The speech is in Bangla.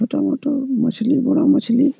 মোটা মোটো মো-মোছলি বড়ো মোছলি-ই।